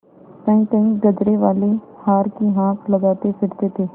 कहींकहीं गजरेवाले हार की हाँक लगाते फिरते थे